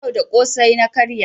Yau da ƙosai na karya.